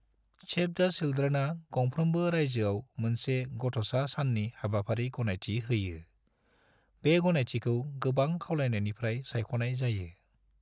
सैव द' चिल्ड्रेनआ गंफ्रोम्बो राज्योआव मोनसे गथ'सा साननि हाबाफारि गनायथि होयो, बे गनायथिखौ गोबां खावलायनायनिफ्राय सायख'नाय जायो।